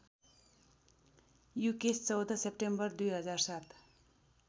Yukesh १४ September २००७